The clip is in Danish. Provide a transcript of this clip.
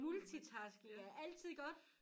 Multitasking er altid godt